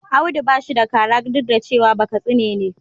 Audu ba shi da kara duk da cewa shi Bakatsi ne.